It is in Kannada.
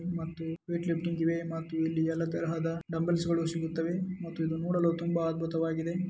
ಮತ್ತೆ ವೇಟ್ ಲಿಫ್ಟಿಂಗ್ ಇವೆ ಮತ್ತೆ ಇಲ್ಲಿ ಎಲ್ಲಾ ತರಹದ ಡಂಬಲ್ಸ್ಗಳು ಸಿಗುತ್ತವೆ ಮತ್ತು ಇದು ನೋಡಲು ತುಂಬಾ ಅದ್ಭುತವಾಗಿದೆ.